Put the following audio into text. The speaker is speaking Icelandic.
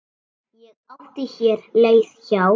Ég átti hér leið hjá.